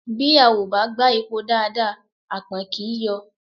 Bí a ò bá gbá epo dáadáa àpọ̀n kì í yọ̀